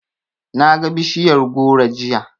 Naga bishiyar goro jiya.